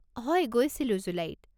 হয়, গৈছিলো, জুলাইত।